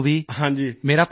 ਮੇਰਾ ਪ੍ਰਣਾਮ ਕਹਿਣਾ